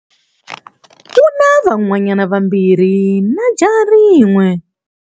U na vanhwanyana vambirhi na jaha rin'we.